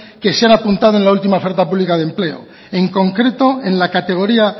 que se han apuntado a la última oferta pública de empleo en concreto en la categoría